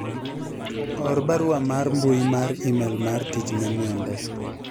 or barua mar mbui mar email mar tich ne mwende